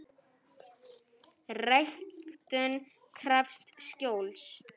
Ræktun krefst skjóls.